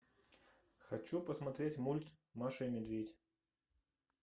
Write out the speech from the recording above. хочу посмотреть мульт маша и медведь